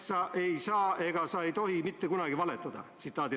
Sa ei saa ega sa ei tohi mitte kunagi valetada.